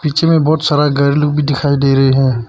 पीछे मे बहोत सारा घर लोग भी दिखाई दे रहे है।